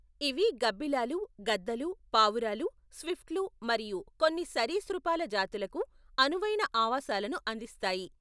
ఇవి గబ్బిలాలు, గద్దలు, పావురాలు, స్విఫ్ట్లు మరియు కొన్ని సరీసృపాల జాతులకు అనువైన ఆవాసాలను అందిస్తాయి.